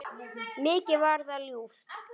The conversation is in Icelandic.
Mikið var það ljúft.